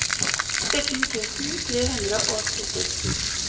sytten tusen tre hundre og sytti